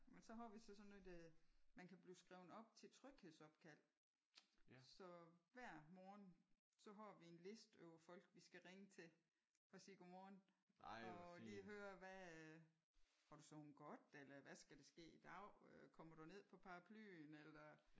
Men så har vi så sådan et man kan blive skrevet op til tryghedsopkald så hver morgen så har vi en liste over folk vi skal ringe til og sige godmorgen og lige høre hvad har du sovet godt? Eller hvad skal der ske i dag? Kommer du ned på Paraplyen eller?